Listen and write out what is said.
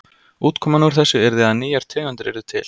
Útkoman úr þessu yrði að nýjar tegundir yrðu til.